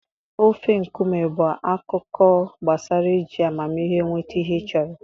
Ofe nkume bụ akụkọ gbasara iji amamihe nweta ihe ị chọrọ.